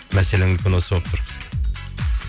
мәселен мүмкін осы болып тұр бізге